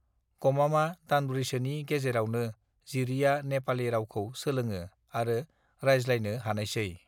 गामामा दानब्रैसोनि गेजरावनो जिरिआ नेपालि रावखौ सोलोंवो आरो रायज्लायनो हानायसै